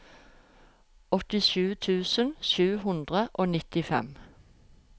åttisju tusen sju hundre og nittifem